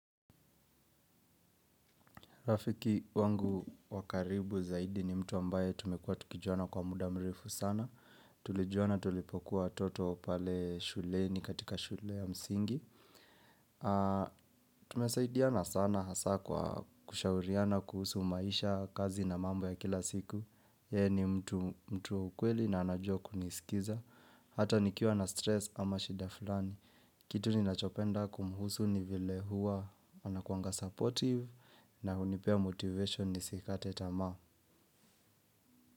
Rafiki wangu wakaribu zaidi ni mtu ambaye tumekuwa tukijuana kwa muda mrefu sana. Tulijuana tulipokuwa watoto pale shule ni katika shule ya msingi. Tumesaidiana sana hasa kwa kushauriana kuhusu maisha kazi na mambo ya kila siku. Yeye ni mtu mtu wa ukweli na anajua kuni skiza. Hata nikiwa na stress ama shida fulani. Kitu ni nachopenda kumhusu ni vile huwa, ana kuanga supportive na unipea motivation ni sikate tamaa.